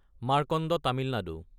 Markanda Tamil Nadu